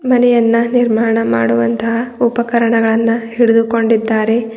ಮನೆಯನ್ನ ನಿರ್ಮಾಣ ಮಾಡುವಂತ ಉಪಕರಣಗಳನ್ನ ಹಿಡಿದುಕೊಂಡಿದ್ದಾರೆ.